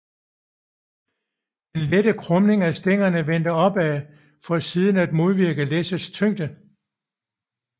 Den lette krumning af stængerne vendte opad for siden at modvirke læssets tyngde